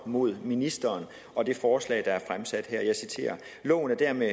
mod ministeren og det forslag der er fremsat her og jeg citerer loven er dermed